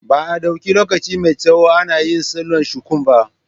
Ba a ɗauki lokaci mai tsawo ana yin salon shuku ba.